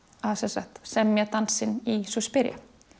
að sem sagt semja dansinn í Suspiria